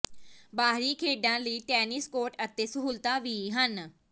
ਬਾਹਰੀ ਖੇਡਾਂ ਲਈ ਟੈਨਿਸ ਕੋਰਟ ਅਤੇ ਸਹੂਲਤਾਂ ਵੀ ਹਨ